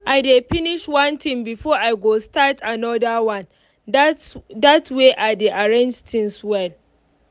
i dey finish one thing before i go start anoder one dat dat way i dey arrange things well.